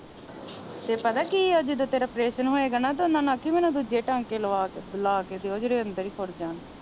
ਤੇ ਪਤਾ ਕੀਆ ਜਦੋ ਤੇਰਾ ਆਪ੍ਰੇਸਨ ਹੋਏਗਾ ਨਾ ਤਾ ਓਹਨਾ ਨੂੰ ਆਖੀ ਵੀ ਮੇਨੂ ਦੂਜੇ ਟਾਂਕੇ ਲਵਾ ਕੇ ਦਿਓ ਜਿਹੜੇ ਅੰਦਰ ਹੀ ਖੁੜ ਜਾਣ।